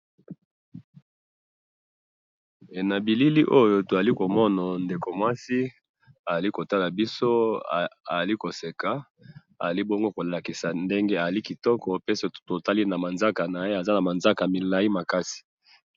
na bilili oyo tozali komona ndeko muasi, azali kotala biso, azali koseka, azali bongo kolakisa ndenge azali kitoko, pe soki totali na manzaka naye, aza na manzaka milayi makasi